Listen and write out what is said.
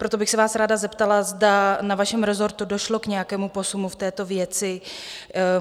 Proto bych se vás ráda zeptala, zda na vašem rezortu došlo k nějakému posunu v této věci?